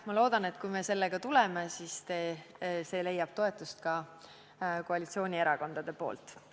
Ma loodan, kui me sellega välja tuleme, siis leiab see toetust ka koalitsioonierakondade hulgas.